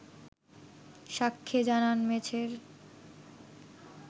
সাক্ষ্যে জানান মেছের